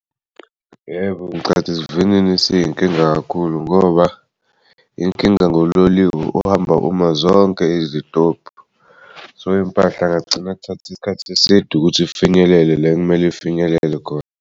Yebo, ngicabanga ukuthi isivinini siyinkinga kakhulu ngoba inkinga ngololiwe ohamba uma zonke izitobhu, so impahla ngagcina kuthatha isikhathi eside ukuthi ifinyelele le kumele ifinyelele khona.